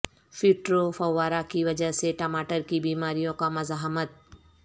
phytophthora کی وجہ سے ٹماٹر کی بیماریوں کا مزاحمت